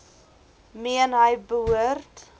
meen hy behoort